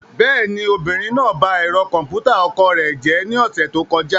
Bẹ́ẹ̀ni, obìnrin náà ba ẹ̀rọ kọ̀m̀pútà ọkọ rẹ̀ jẹ́ ní ọ̀sẹ̀ tó kọjá.